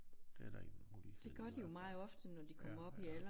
Det er da en mulighed i hvert fald ja ja